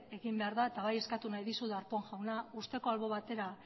egin behar da eta bai eskatu nahi dizut darpón jauna uzteko albo batera